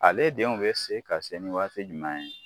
Ale denw bɛ se ka sɛ ni waati jumɛn ye.